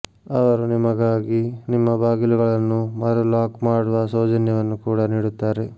ಅವರು ನಿಮಗಾಗಿ ನಿಮ್ಮ ಬಾಗಿಲುಗಳನ್ನು ಮರು ಲಾಕ್ ಮಾಡುವ ಸೌಜನ್ಯವನ್ನು ಕೂಡಾ ನೀಡುತ್ತಾರೆ